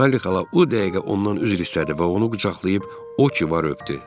Sayli xala o dəqiqə ondan üzr istədi və onu qucaqlayıb o ki var öpdü.